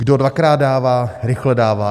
Kdo dvakrát dává, rychle dává.